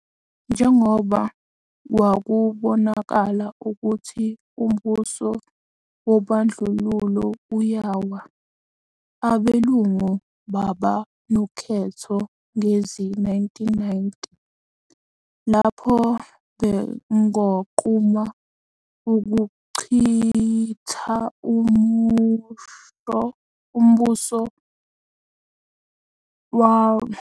Njengoba kwakubonakala ukuthi umbuso wobandlululo uyawa, abelungu baba nokhetho ngezi-1990 lapho bengquma ukuchitha umbuso wobandlululo. Sukela izi-1994, abantu abansundu, amaKhaladi anamaNdiya wayevumelekile ukuthi aqotshwe ukuba amajaji weNkantolo ePhakeme.